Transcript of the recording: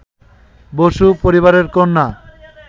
বসু পরিবারের কন্যা